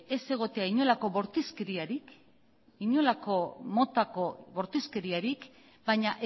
ez egotea inolako bortizkeriarik inolako motako bortizkeriarik baina